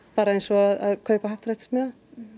bara eins og að kaupa happdrættismiða